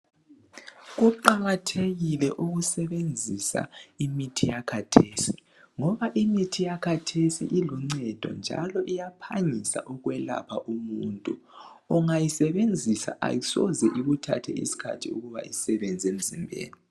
Kuqakathekile ukusebenzisa imithi yakhathesi. Ngoba imithi yakhathesi iluncedo njalo iyaphangisa ukwelapha umuntu. Ungayisebenzisa ayisoze ikuthathe isikhathi ukuba isebenze emzimbeni.